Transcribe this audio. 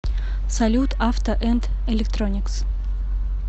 салют авто энд электроникс